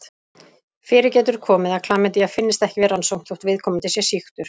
Fyrir getur komið að klamydía finnist ekki við rannsókn þótt viðkomandi sé sýktur.